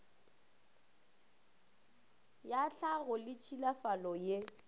ya tlhago le tšhilafalo ye